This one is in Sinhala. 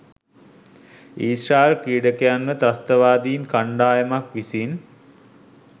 ඊශ්‍රායෙල් ක්‍රීඩකයන්ව තස්ත්‍රවාදින් කණ්ඩායමක් විසින්